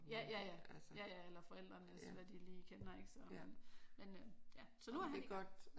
Ja ja eller forældrenes hvad de lige kender ik sådan men øh nu er han i gang